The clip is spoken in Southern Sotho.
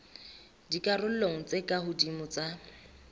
dikarolong tse ka hodimo tsa